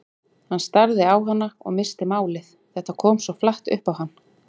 Hann starði á hana og missti málið, þetta kom svo flatt upp á hann.